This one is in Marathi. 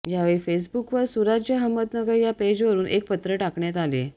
यावेळी फेसबुकवर सुराज्य अहमदनगर या पेजवरून एक पत्र टाकण्यात आले